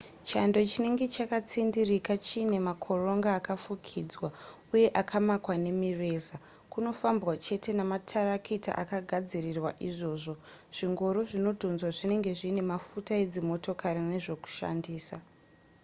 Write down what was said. chando chinenge chakatsindirika chiine makoronga akafukidzwa uye akamakwa nemireza kunofambwa chete nematarakita akagadzirirwa izvozvo zvingoro zvinodhonzwa zvinenge zviine mafuta edzimotokari nezvokushandisa